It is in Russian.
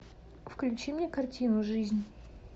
включи мне картину жизнь